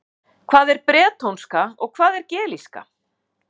Hvað er bretónska og hvað er gelíska?